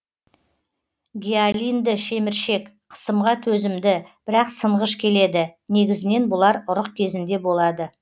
гиалинді шеміршек қысымға төзімді бірақ сынғыш келеді негізінен бұлар ұрық кезінде болады